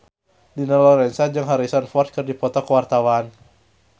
Dina Lorenza jeung Harrison Ford keur dipoto ku wartawan